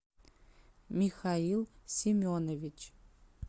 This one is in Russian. михаил семенович